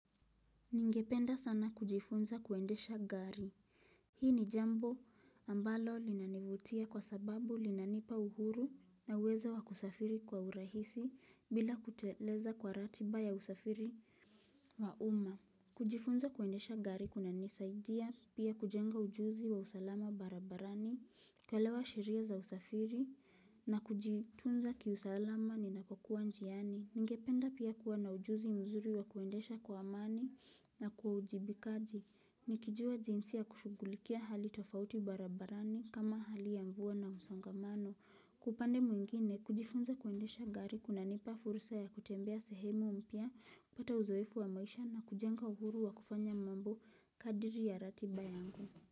Ningependa sana kujifunza kuendesha gari. Hii ni jambo ambalo linanivutia kwa sababu linanipa uhuru na uwezo wa kusafiri kwa urahisi bila kuteleza kwa ratiba ya usafiri wa umma. Kujifunza kuendesha gari kunanisaidia pia kujenga ujuzi wa usalama barabarani, kuelewa sheria za usafiri na kujitunza kiusalama ninapokua njiani. Ningependa pia kuwa na ujuzi mzuri wa kuendesha kwa amani na kwa uwajibikaji Nikijua jinsi ya kushugulikia hali tofauti barabarani kama hali ya mvua na msongamano Kwa pande mwingine kujifunza kuendesha gari kunanipa fursa ya kutembea sehemu mpya kupata uzoefu wa maisha na kujenga uhuru wa kufanya mambo kadri ya ratiba yangu.